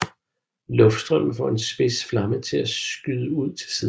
Luftstrømmen får en spids flamme til at skyde ud til siden